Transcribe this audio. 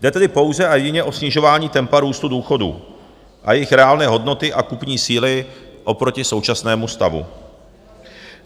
Jde tedy pouze a jedině o snižování tempa růstu důchodů a jejich reálné hodnoty a kupní síly oproti současnému stavu.